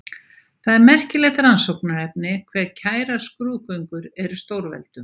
Það er merkilegt rannsóknarefni hve kærar skrúðgöngur eru stórveldum.